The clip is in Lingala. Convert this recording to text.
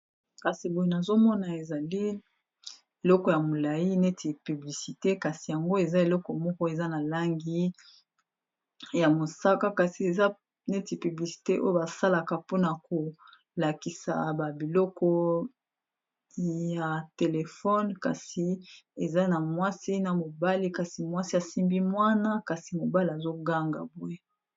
kasi boyi nazomona ezali eleko ya molai neti publicite kasi yango eza eleko moko eza na langi ya mosaka kasi eza neti piblisite oyo basalaka mpona kolakisa babiloko ya telefone kasi eza na mwasi na mobali kasi mwasi asimbi mwana kasi mobali azoganga boye